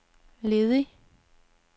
ledig